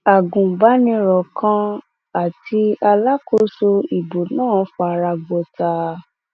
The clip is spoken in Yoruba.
agunbaniro kan àti alákòóso ìbò náà fara gbọta